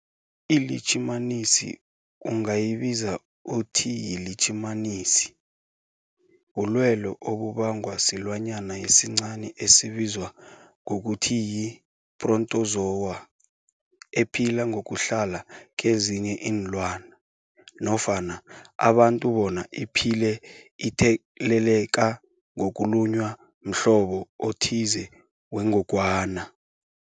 ILitjhimanisi ungayibiza uthiyilitjhimanisi, bulwelwe obubangwa silwanyana esincani esibizwa ngokuthiyi-phrotozowa ephila ngokuhlala kezinye iinlwana nofana abantu bona iphile itheleleka ngokulunywa mhlobo othize wengogwana.